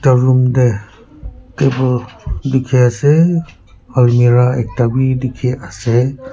aro room de table diki ase almira ekta b diki ase.